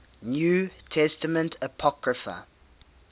new testament apocrypha